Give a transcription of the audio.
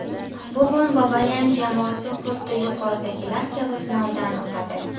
Bugun Babayan jamoasi xuddi yuqoridagilar kabi sinovdan o‘tadi.